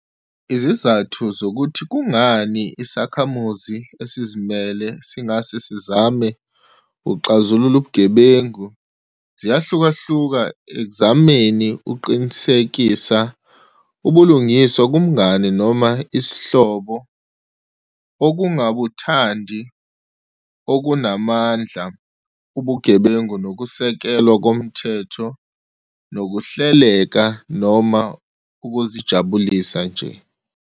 Izizathu zokuthi kungani isakhamuzi esizimele singase sizame ukuxazulula ubugebengu ziyahlukahluka ekuzameni ukuqinisekisa ubulungisa kumngane noma isihlobo, ukungabuthandi okunamandla ubugebengu nokusekelwa komthetho nokuhleleka, noma ukuzijabulisa nje.